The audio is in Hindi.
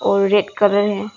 और रेड कलर हैं।